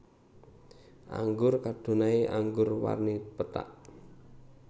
Anggur Chardonnay anggur warni pethak